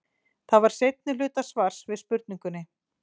Þetta er seinni hluti svars við spurningunni.